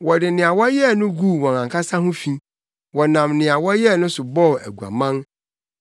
Wɔde nea wɔyɛɛ no guu wɔn ankasa ho fi; wɔnam nea wɔyɛɛ no so bɔɔ aguaman.